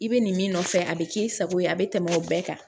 I bɛ nin min nɔfɛ a bɛ k'i sago ye a bɛ tɛmɛ o bɛɛ kan